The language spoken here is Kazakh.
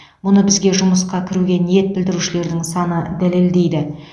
мұны бізге жұмысқа кіруге ниет білдірушілердің саны дәлелдейді